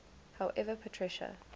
however patricia